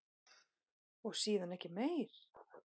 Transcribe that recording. Og síðan ekki meir?